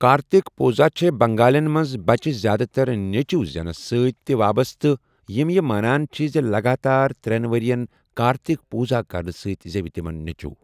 کارتِک پوٗزا چھےٚ بنٛگالیٚن منٛز بَچہٕ زیادٕتر نیٚچٗوِ زیٚنَس سۭتۍ تہِ وابسطہٕ یِم یہِ مانان چھِ زِ لَگاتار ترٛیٚن ؤرِین کارتِکٕ پوٗزا کرنہٕ سۭتۍ زیٚوِ تِمن نیٚچُو۔